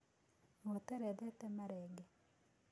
Gũtĩrĩ thĩtĩma rĩngĩ.